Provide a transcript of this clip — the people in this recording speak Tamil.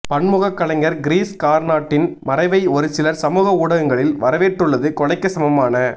பன்முகக் கலைஞர் கிரீஷ் கார்னாட்டின் மறைவை ஒருசிலர் சமூக ஊடகங்களில் வரவேற்றுள்ளது கொலைக்கு சமமான